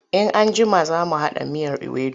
In an jima za mu haɗa miyar iwedu.